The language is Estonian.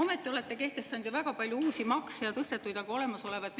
Ometi olete kehtestanud väga palju uusi makse ja tõstnud ka olemasolevaid.